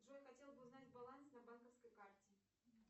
джой хотела бы узнать баланс на банковской карте